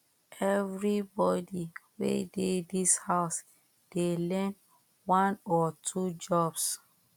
everybody wey dey this house dey learn one or two jobs